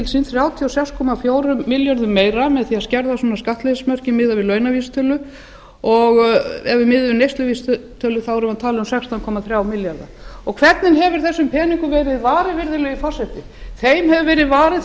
sín þrjátíu og sex komma fjórum milljörðum meira með því að skerða svona skattleysismörkin miðað við launavísitölu og ef við miðum við neysluvísitölu eru það sextán komma þrír milljarðar hvernig hefur þessum peningum verið varið virðulegi forseti þeim hefur verið varið